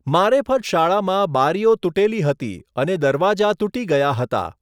મારેફત શાળામાં બારીઓ તૂટેલી હતી અને દરવાજા તૂટી ગયા હતા.